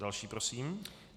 Další prosím.